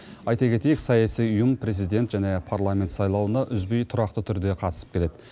айта кетейік саяси ұйым президент және парламент сайлауына үзбей тұрақты түрде қатысып келеді